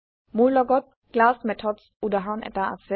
মোৰ লগত class methods উদাহৰণ এটা আছে